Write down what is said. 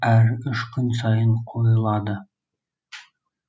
әр үш күн сайын қойылады